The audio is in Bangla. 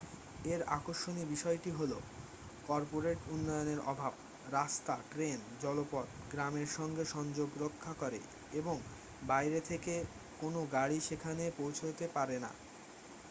এর আকর্ষণীয় বিষয়টি হল কর্পোরেট উন্নয়নের অভাব রাস্তা ট্রেন এবং জলপথ গ্রামের সঙ্গে সংযোগ রক্ষা করে এবং বাইরে থেকে কোনও গাড়ি সেখানে পৌঁছোতে পারে না